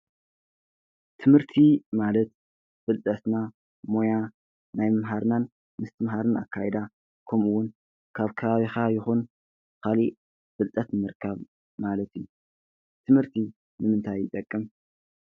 ትምህርቲ ማለት ፍልጠትና ሞያ ናይ ምምሃርናን ምስትምሃርን ኣካይዳ ከምኡ እውን ካብ ከባቢኻ ይኩን ካሊእ ፍልጠት ንምርካብ ማለት እዩ። ትህምርቲ ንምንታይ ይጠቅም?